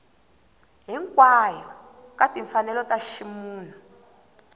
hinkwayo ka timfanelo ta ximunhu